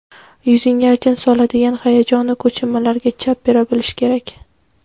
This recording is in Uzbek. yuzingga ajin soladigan hayajonu kechinmalarga chap bera bilish kerak.